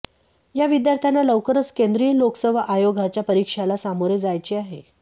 या विद्यार्थ्यांना लवकरच केंद्रीय लोकसेवा आयोगाच्या परीक्षाला सामोरे जायचे आहे